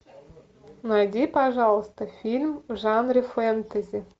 найди пожалуйста фильм в жанре фэнтези